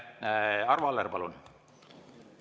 Arvo Aller, palun!